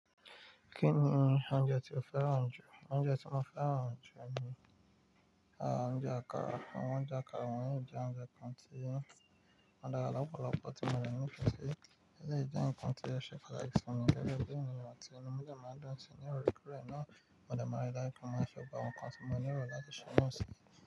Kí ni oúnjẹ tí o fẹ́ràn jù? Oúnjẹ tí mo fẹ́ràn jù ni, aà, oúnjẹ àkàrà. Àwọ̀n ọ̀unje àkàrà wọ́nyii jẹ oúnjẹ kan tí wón dára lọ́pọ̀lọ́pọ̀ tí mo rí nítorí pé eleyii jẹ́ ǹkan tí o sẹ̀ pataki si mi gebe bi si eníyan tí inu mi dẹ̀ máa n dún sí, ní òorekoorẹ náà mo dẹ̀ máa rí láìpẹ́ mo maan ṣe gbogbo awon ǹkan tí mo lerò láti ṣe náà sí.